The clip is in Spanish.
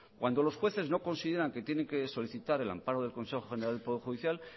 cuando los jueces no consideran que tiene que solicitar el amparo del consejo general del poder judicial